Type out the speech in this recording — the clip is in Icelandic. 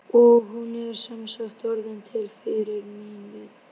Og hún er sem sagt orðin til fyrir mín viðbrögð.